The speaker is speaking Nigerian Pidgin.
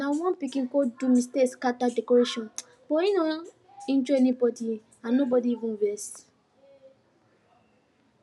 na one pikin go do mistake scatter decoration but hin no injure anybody and nobody even vex um